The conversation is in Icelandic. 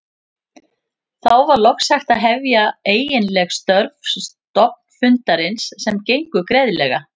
Þá var loks hægt að hefja eiginleg störf stofnfundarins sem gengu greiðlega.